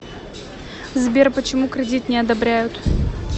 сбер почему кредит не одобряют